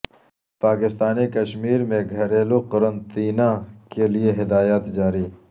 پاکستانی کشمیر میں گھریلو قرنطینہ کے لیے ہدایات جاری